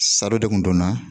Saro de kun donna